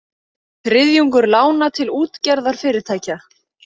Þriðjungur lána til útgerðarfyrirtækja